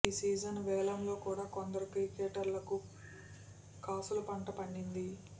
ఈ సీజన్ వేలంలో కూడా కొందరు క్రికెటర్లకు కాసుల పంట పండింది